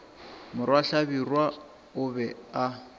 morwa hlabirwa o be a